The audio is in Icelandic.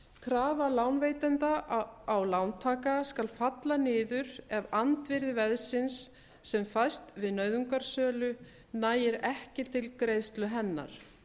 krafa lánveitenda á lántaka skal falla niður ef andvirði veðsins sem fæst við nauðungarsölu nægir ekki til greiðslu hennar